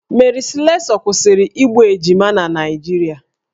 Mary Slessor kwụsịrị igbu ejima na Naịjirịa